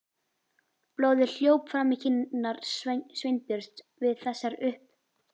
Blóðið hljóp fram í kinnar Sveinbjörns við þessar upp